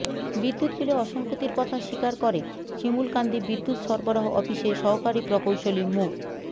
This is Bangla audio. বিদ্যুৎ বিলে অসঙ্গতির কথা স্বীকার করে শিমুলকান্দি বিদ্যুৎ সরবরাহ অফিসের সহকারী প্রকৌশলী মো